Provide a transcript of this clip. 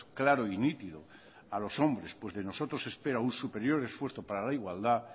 claro y nítido a los hombres pues de nosotros se espera un superior esfuerzo para la igualdad